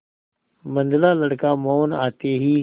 मंझला लड़का मोहन आते ही